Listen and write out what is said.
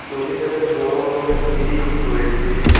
নদীটাতে বড়ো একটা ব্রিজ রয়েছে।